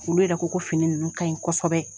Olu yɛrɛ ko ko fini ninnu ka ɲi kosɛbɛ